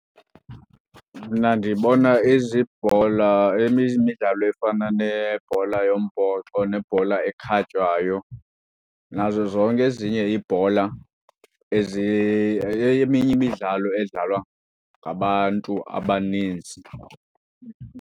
Mna ndibona izibhola, eminye imidlalo efana nebhola yombhoxo nebhola ekhatywayo nazo zonke ezinye iibhola eminye imidlalo edlalwa ngabantu abaninzi.